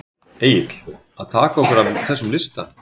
Egill: Að taka okkur af þessum lista?